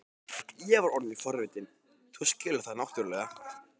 Ég er orðinn forvitinn, þú skilur það náttúrlega.